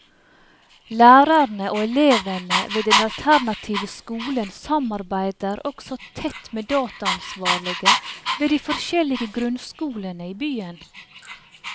Lærerne og elevene ved den alternative skolen samarbeider også tett med dataansvarlige ved de forskjellige grunnskolene i byen.